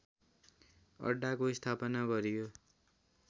अड्डाको स्थापना गरियो